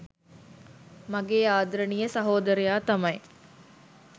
මගේ ආදරණීය සහෝදරයා තමයි.